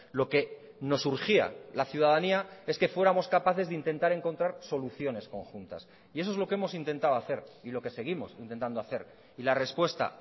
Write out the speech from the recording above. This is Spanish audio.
lo que nos urgía la ciudadanía es que fuéramos capaces de intentar encontrar soluciones conjuntas y eso es lo que hemos intentado hacer y lo que seguimos intentando hacer y la respuesta